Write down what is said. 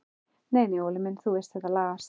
Nei nei Óli minn, þú veist þetta lagast.